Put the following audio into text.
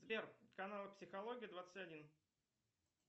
сбер каналы психологии двадцать один